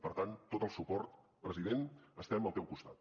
per tant tot el suport president estem al teu costat